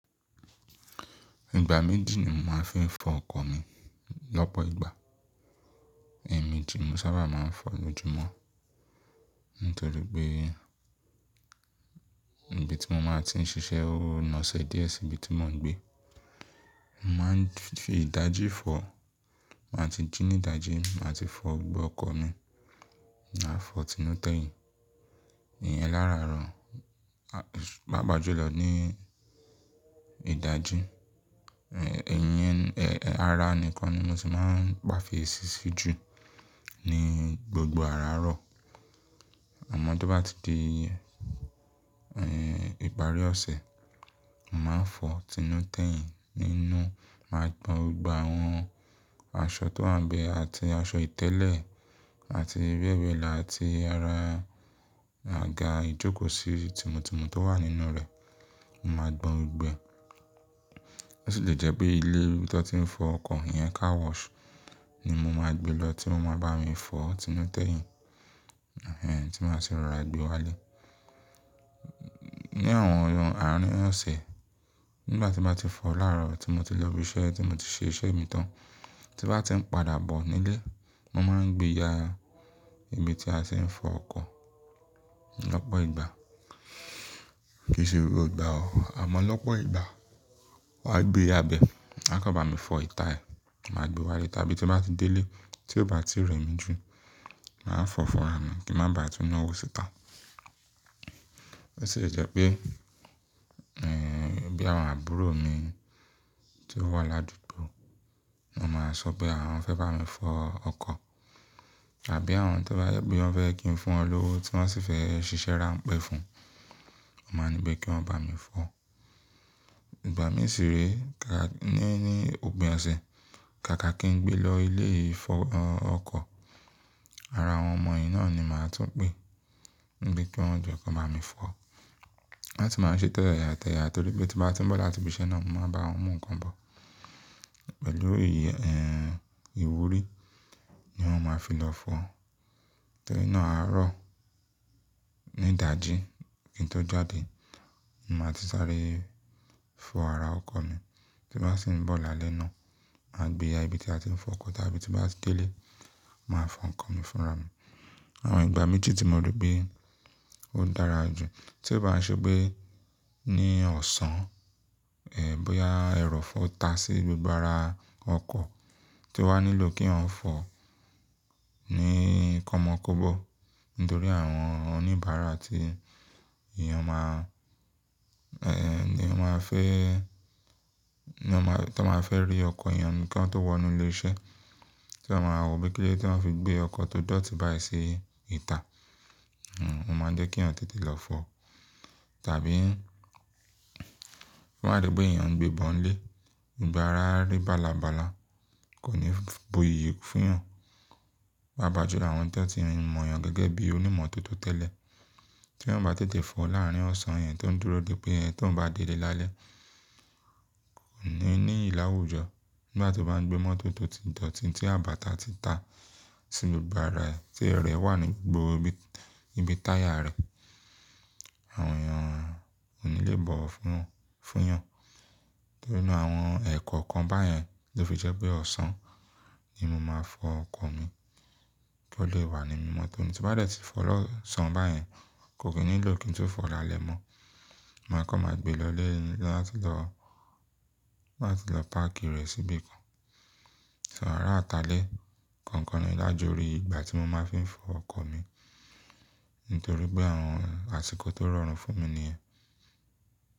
Ìgbà méjì ni mo máa ń fi fọ ọkọ̀ mi. Lọ́pọ̀ ìgbà, ẹ̀ẹ̀miji mo sábà máa ń fọ lóju mọ́, nítorí pé ibi tí mo máa ti ń ṣiṣẹ́ ó nàṣẹ́ díẹ̀ sí ibi tí mò ń gbé. Mo máa ń fi ìdajì fọ̀, má tíì jí ní ìdajì, màá ti fọ gbogbo ọkọ̀ mi, màá fọ̀ inú tẹ̀yìn. Ìyẹn láàárọ̀, bá bàjú lọ ní ìdajì, ẹ̀yẹn, ẹ́, ẹ́, ara nìkan ni mo sì máa ń pàféèsi sí jù ní gbogbo àárọ̀. Àmọ́ tó bá ti di, ìparí ọ̀sẹ̀, màá fọ̀ inú tẹ̀yìn nínú, màá gbọn gbogbo àwọn aṣọ tó wá ń bẹ àti aṣọ ìtẹ́lẹ̀ àti bẹ́ẹ̀ bẹ́ẹ̀ lọ àti ara àga ìjókòó sí tumọ̀tumọ̀ tó wà nínú rẹ̀, màá gbọn gbọ. Ó sì le jẹ́ pé ilé tó ti ń fọ ọkọ̀ yẹn, car wash, ni mo máa gbe lọ tí wọ́n máa bá mi fọ̀ tinú tẹ̀yìn, tí màá sì ra gbe wálé. Ní àwọn ọ̀run àárín ọ̀sẹ̀, nígbà tí màá ti fọ̀ láàárọ̀ tí mo ti lọ ibi iṣẹ́, tí mo ti ṣe iṣẹ́ mi tán, tí màá ti ń padà bọ̀ nílé, mo máa ń gbé ya ibi tí a ti ń fọ ọkọ̀ lọ́pọ̀ ìgbà. Kì í ṣe gbogbo ìgbà o, àmọ́ lọ́pọ̀ ìgbà. Wà á gbé ya bẹ, wọ́n á kọ́ bá mi fọ ìta ẹ̀, màá gbe wálé. Tàbí tí màá ti dé ilé tí ó bá ti rẹ̀ mí ju, màá fọ́ fúnra mi kí n má ba à túnu ọwọ́ síta. Ó sì le jẹ́ pé, bí àwọn àbúrò mi tí ó wà ládùúgbò, wọ́n máa sọ pé àwọn fẹ́ bá mi fọ ọkọ̀ àbí àwọn tó bá gbé, wọ́n fẹ́ kí n fún wọn lówó tí wọ́n sì fẹ́ ṣiṣẹ́ ráńpẹ́ fún. Mo máa nípé kí wọ́n bá mi fọ. Ìgbà mìíràn sì rí, ka-- ní, ní òpin ọ̀sẹ̀, kàkà kí n gbé lọ ilé ìfọ ọkọ̀, ara àwọn ọmọ yìí náà ni màá tún pé níbí kí wọ́n jẹ́ kí wọ́n máa mi fọ. Láti máa ṣe tẹ́ya tẹ́ya torí pé tí bá ti ń bọ̀ láti ibi iṣẹ́ náà, mo máa bá wọn mú nǹkan bọ̀ pẹ̀lú iye, ẹ́, ìwúrí ni wọ́n máa fi lọ fọ. Torí náà àárọ̀ ní ìdajì kí n tó jáde, màá ti sáré fọ ara ọkọ̀ mi. Tí màá sì ń bọ̀ lálẹ́ náà, màá gbé ya ibi tí a ti ń fọ ọkọ̀ tàbí tí màá ti dé ilé, màá fọ ọkọ̀ mi fúnra mi. Àwọn ìgbà méjì tí mo rí pé ó dára jù. Tí ó bá ṣe pé ní ọ̀sán, bóyá ẹrọ̀fọ tá sí gbogbo ara ọkọ̀ tí ó wá nílò kí wọ́n fọ̀ ní kọ́mọ kóbọ̀ nítorí àwọn oníbàárà tí èèyàn máa, ni wọ́n a fẹ́, ní wọ́n máa, tí wọ́n máa fẹ́ rí ọkọ̀ èèyàn nìkan tó wọ inú ilé iṣẹ́, tí wọ́n máa wò ó bí kílódé tí wọ́n fi gbé ọkọ̀ tó dọ̀tí báyìí sí ìta, n, ó máa jẹ́ kí wọ́n tètè lọ fọ. Tàbí fún àdúgbò èèyàn ń gbé bọ̀n lé, ìgbà ara rí bálabàla kò ní bu iyì fún wọn. Bá bàjú lọ àwọn tó ti mọ̀ èèyàn gẹ́gẹ́ bí onímọ̀ tó tẹ́lẹ̀ tí wọ́n bá tètè fọ̀ láàrín ọ̀sán yẹn tó ń dúró dé pé ẹ́ tó ń bá délé lálẹ́, kò ní ní ìlàwújọ. Nígbà tí wọ́n bá ń gbé mọ́tò tó ti dọ̀tí tí àbàtà ti ta sí gbogbo ara rẹ̀ tí ẹrẹ̀ wà ní gbogbo ibi, ibi táyà rẹ̀, àwọn èèyàn kò ní lè bọ̀ fún, fún wọn. Torí náà àwọn ẹ̀kọ̀ kan báyẹn ló fi jẹ́ pé ọ̀sán ni mo máa fọ ọkọ̀ mi kí ó lè wà ní mímọ́ tọ́ni. Tí bá dẹ̀ tí fọ lọ́sàn báyẹn, kò kí nílò kí n tó fọ̀ láalẹ̀ mọ́. Mo máa kọ́, màá gbe lọ ilé láti lọ, láti lọ páàkì rẹ̀ síbí kan. Ṣé àárọ̀ àtàlé kankan ni lájọ orí ìgbà tí mo máa fi ń fọ ọkọ̀ mi nítorí pé àwọn àsìkò tó rọrùn fún mi ni yẹn.